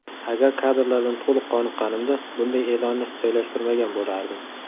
Agar kadrlardan to‘liq qoniqqanimda bunday e’lonni joylashtirmagan bo‘lardim.